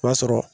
O b'a sɔrɔ